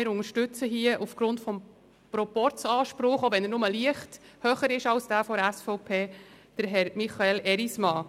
Wir unterstützen Herrn Michael Erismann aufgrund des Proporzanspruchs, auch wenn dieser nur leicht höher ist als jener der SVP.